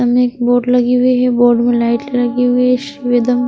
सामने एक बोर्ड लगी हुई है बोर्ड में लाइट लगी हुई है --